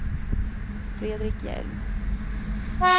Fredrik Hjelm